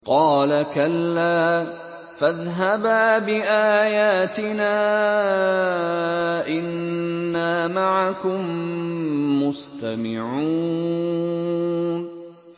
قَالَ كَلَّا ۖ فَاذْهَبَا بِآيَاتِنَا ۖ إِنَّا مَعَكُم مُّسْتَمِعُونَ